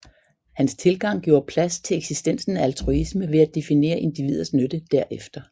Hans tilgang gjorde pladse til eksistensen af altruisme ved at definere individers nytte derefter